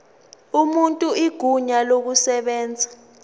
umuntu igunya lokushayela